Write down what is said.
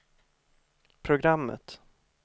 programmet